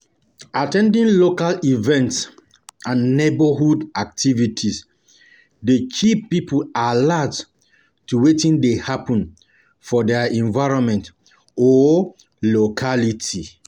At ten ding local events and neigbourhood activities dey keep pipo alert to wetin dey happen for their environment or locality.